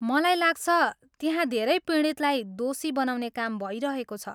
मलाई लाग्छ, त्यहाँ धेरै पीडितलाई दोषी बनाउने काम भइरहेको छ।